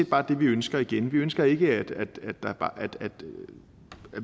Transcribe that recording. bare det vi ønsker igen vi ønsker ikke at der bare